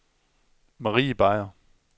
Marie Beyer